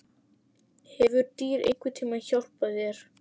Hefur dýr einhvern tíma hjálpað þér?